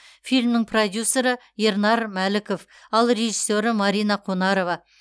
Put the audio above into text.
фильмнің продюссері ернар мәліков ал режиссері марина қонарова